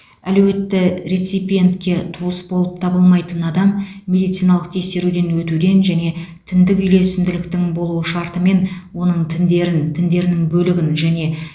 әлеуетті реципиентке туыс болып табылмайтын адам медициналық тексеруден өтуден және тіндік үйлесімділіктің болуы шартымен оның тіндерін тіндерінің бөлігін және